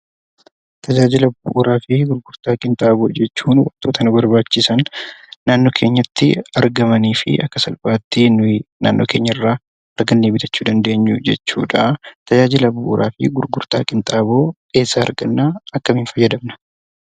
Tajaajila bu'uuraa fi gurgurtaa qinxaaboo jechuun wantota nu barbaachisan naannoo keenyatti argamanii fi akka salphaatti nuyi naannoo keenyarraa argannee bitachuu dandeenyu jechuudha. Tajaajila bu'uuraa fi gurgurtaa qinxaaboo eessaa argannaa? akkamiin fayadamna?